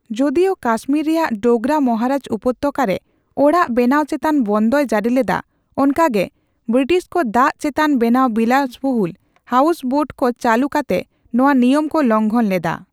ᱡᱳᱫᱤᱳ ᱠᱟᱥᱢᱤᱨ ᱨᱮᱭᱟᱜ ᱰᱳᱜᱨᱟ ᱢᱟᱦᱟᱨᱟᱡ ᱩᱯᱚᱛᱚᱠᱟ ᱨᱮ ᱚᱲᱟᱜ ᱵᱮᱱᱟᱣ ᱪᱮᱛᱟᱱ ᱵᱚᱱᱫᱚᱭ ᱡᱟᱹᱨᱤ ᱞᱮᱫᱟ, ᱚᱱᱠᱟᱜᱮ ᱵᱨᱤᱴᱤᱥ ᱠᱚ ᱫᱟᱹᱞ ᱪᱮᱛᱟᱱ ᱵᱮᱱᱟᱣ ᱵᱤᱞᱟᱹᱥᱵᱩᱦᱩᱞ ᱦᱟᱣᱥᱵᱳᱴᱠᱚ ᱪᱟᱹᱞᱩ ᱠᱟᱛᱮ ᱱᱚᱣᱟ ᱱᱤᱭᱟᱹᱢ ᱠᱚ ᱞᱚᱝᱦᱚᱱ ᱞᱮᱫᱟ ᱾